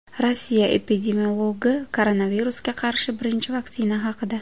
Rossiya epidemiologi koronavirusga qarshi birinchi vaksina haqida.